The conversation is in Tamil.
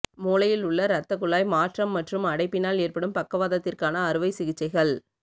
மூளையில் உள்ள இரத்த குழாய் மாற்றம் மற்றும் அடைப்பினால் ஏற்படும் பக்கவாதத்திற்கான அறுவை சிகிச்சைகள்